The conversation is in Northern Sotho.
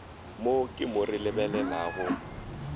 mo ke mo re lebelelago